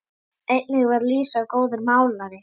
Einnig var Lísa góður málari.